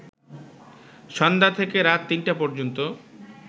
সন্ধ্যা থেকে রাত ৩টা পর্যন্ত